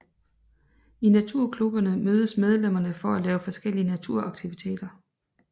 I naturklubberne mødes medlemmerne for at lave forskellige naturaktiviteter